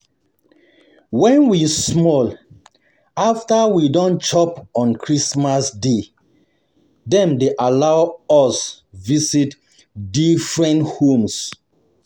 When we small, um after we don chop on Christmas day, dem dey allow allow us visit different homes.